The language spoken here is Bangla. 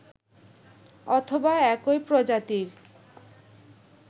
অথবা একই প্রজাতির